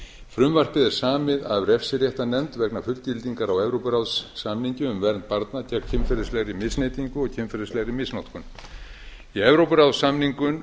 frumvarpið er samið af refsiréttarnefnd vegna fullgildingar á evrópuráðssamningi um vernd barna gegn kynferðislegri misneytingu og kynferðislegri misnotkun í evrópuráðssamningnum